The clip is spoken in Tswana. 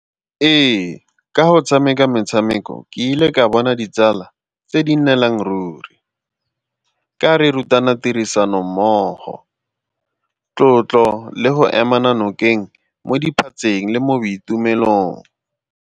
Ee, ka go tshameka metshameko ke ile ka bona ditsala tse di nnelang ruri. Ka re ruta bana tirisanommogo, tlotlo le go ema nokeng mo diphatseng le mo boitumelong.